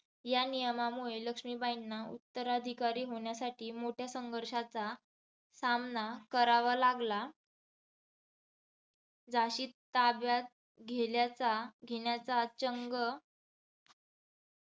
या नियमामुळे लक्ष्मीबाईंना उत्तराधिकारी होण्यासाठी मोठ्या संघर्षाचा सामना करावा लागला. झाशी ताब्यात घेल्याचा घेण्याचा चंग